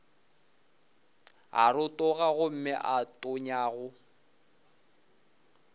a rotoga gomme a tonyago